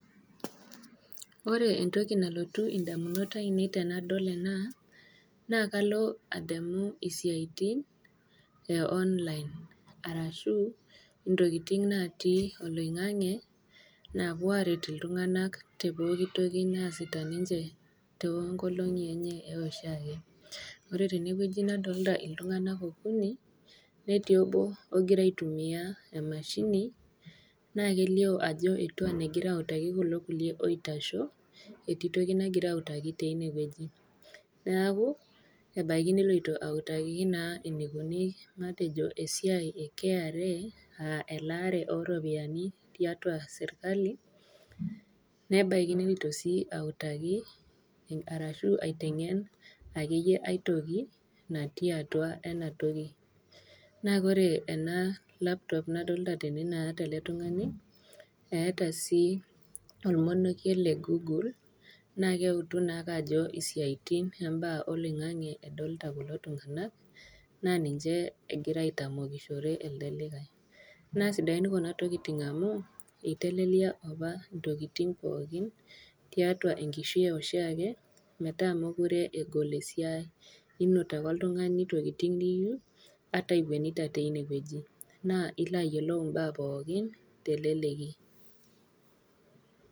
Ore entoki nalotu indamunot ainei tenadol ena, naa kalo adamu intokitin e online, arashu intokitin natii oloing'ang'e naapuo aret iltung'ana te pooki toki naasita ninche too inkolong'i enye e eshiake. Ore tene wueji nadolita iltung'ana okuni, netii obo ogira aitumiya emashini, naa kelio ajo egira autaki kulo kulie oitasho, etii toki nagira autaki teine wueji, neaku ebaiki neloito autaki naa matejo eneikuni esiai e KRA, aa elaare o iropiani tiatua serkali, nebaiki neloito sii autaki, arashu aiteng'en ake iyie ai toki natii atua ena toki natii atua ena toki. Naa ore ena laptop nadolita tene naata ele tung'ani tene, eata sii olmonokie le Google, naakii eutu naake ajo isiaitin oo imbaa oloin'ang'e edolita kulo tung'ana , naa ninche egira aitamokishore elde likai. Naa sidain kuna tokitin amu, eitelelia opa intokitin pookin, tiatua enkishui e oshiake metaa mekure egol esiai, inot ake oltung'ani intokitin niyou ata iwuenita teine wueji, naa ilo ayiolou imbaa pookin te eleleki.